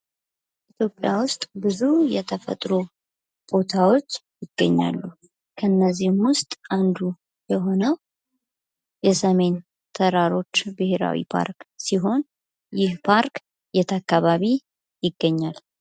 ኢትዮጵያ ውስጥ ብዙ የተፈጥሮ ቦታዎች ይገኛሉ ። እነዚህም ውስጥ አንዱ የሆነው የሰሜን ተራሮች ብሔራዊ ፓርክ ሲሆን ይህ ፓርክ የት አካባቢ ይገኛል ?